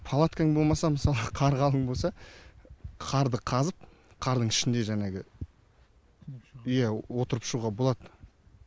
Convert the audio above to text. палаткаң болмаса мысалы қар қалың болса қарды қазып қардың ішінде жәңегі иә отырып шығуға болады